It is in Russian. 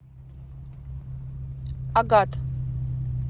агат